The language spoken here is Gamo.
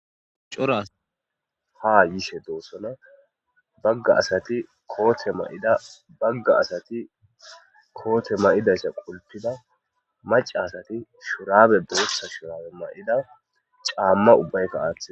Cora asati ha yishe de'ossonna bagga asatii kootte mayidda bagga astti kootte mayidayssa qulpidda maca asati boththa shurabe mayida caamma uibbaykka aaththida